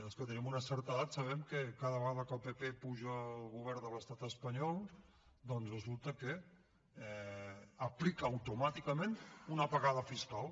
els que tenim una certa edat sabem que cada vegada que el pp puja al govern de l’estat espanyol doncs resulta que aplica automàticament una apagada fiscal